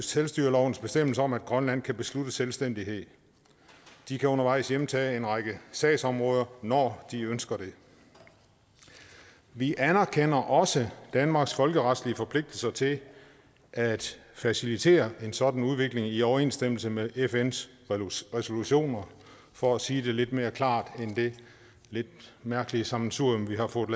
selvstyrelovens bestemmelse om at grønland kan beslutte selvstændighed de kan undervejs hjemtage en række sagsområder når de ønsker det vi anerkender også danmarks folkeretlige forpligtelser til at facilitere en sådan udvikling i overensstemmelse med fns resolutioner for at sige det lidt mere klart end det lidt mærkelige sammensurium